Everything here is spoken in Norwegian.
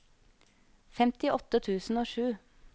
femtiåtte tusen og sju